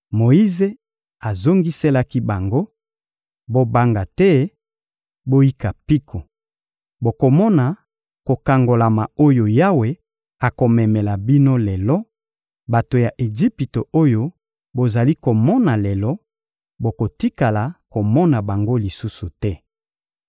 Moyize azongiselaki bango: — Bobanga te, boyika mpiko! Bokomona kokangolama oyo Yawe akomemela bino lelo; bato ya Ejipito oyo bozali komona lelo, bokotikala komona bango lisusu te.